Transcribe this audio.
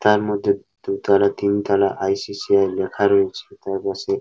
তার মধ্যে দু তলা তিন তলা আই.সি.সি.আই লেখা রয়েছে। তার পাশে।